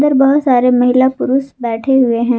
बहुत सारी महिला पुरुष बैठे हुए हैं।